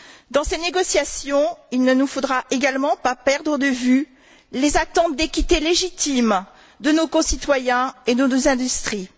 Dans ces négociations, il ne nous faudra pas non plus perdre de vue les attentes d'équité légitime de nos concitoyens et de nos industries.